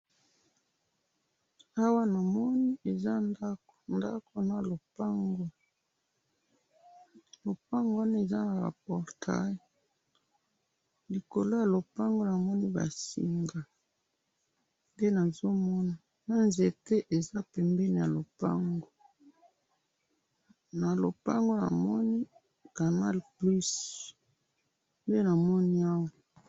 awa namoni eza ndakou ndakou na lopangu, lopangou wana eza naba portail likolo ya lopangu namoni ba singa nde nazo mona naba nzete eza pembeni na lopango na lopango namoni canal plus nde namoni awa